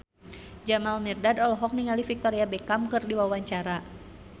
Jamal Mirdad olohok ningali Victoria Beckham keur diwawancara